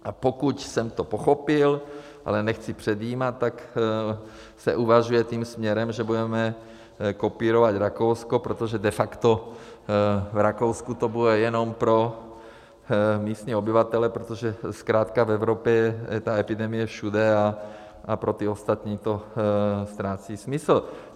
A pokud jsem to pochopil, ale nechci předjímat, tak se uvažuje tím směrem, že budeme kopírovat Rakousko, protože de facto v Rakousku to bude jenom pro místní obyvatele, protože zkrátka v Evropě je ta epidemie všude a pro ty ostatní to ztrácí smysl.